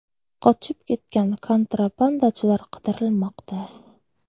Qochib ketgan kontrabandachilar qidirilmoqda.